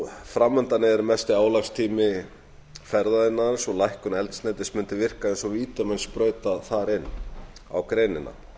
fram undan er mesti álagstími ferðaaiðnaðarins og lækkun eldsneytis mundi virka eins og vítamínsprauta þar inn á greinina